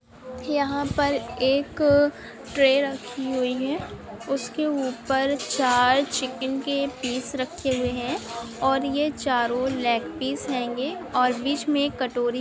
यहाँ पर एक ट्रे रखी हुई है उसके ऊपर चार चिकन के पीस रखे हुई है और ये चारों लगे सीप हेंगे और बीच में एक कटोरी--